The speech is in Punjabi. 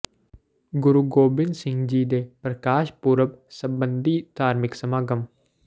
ਗੁਰੂ ਗੋਬਿੰਦ ਸਿੰਘ ਜੀ ਦੇ ਪ੍ਰਕਾਸ਼ ਪੁਰਬ ਸਬੰਧੀ ਧਾਰਮਿਕ ਸਮਾਗਮ